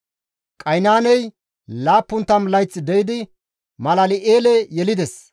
Qaynaaney 70 layth de7idi Malal7eele yelides;